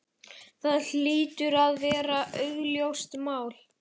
Það hlýtur að vera augljóst mál.